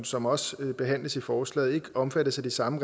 som også behandles i forslaget vil ikke omfattes af de samme